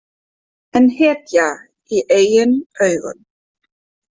En hetja í eigin augum.